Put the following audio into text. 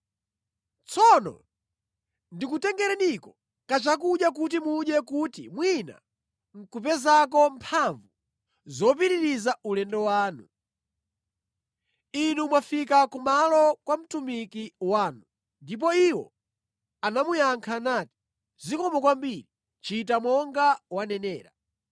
Tsono ndikutengereniko kachakudya kuti mudye kuti mwina nʼkupezako mphamvu zopitirizira ulendo wanu. Inu mwafika kumalo kwa mtumiki wanu.” Ndipo iwo anamuyankha nati, “Zikomo kwambiri, chita monga wanenera.”